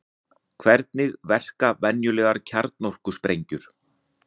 Hvernig verka venjulegar kjarnorkusprengjur?